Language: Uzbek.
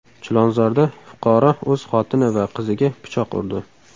Chilonzorda fuqaro o‘z xotini va qiziga pichoq urdi.